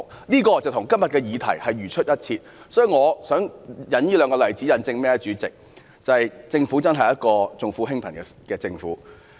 這例子與今天的議題同出一轍，主席，我引述這兩個例子，就是要引證政府確實是一個重富輕貧的政府。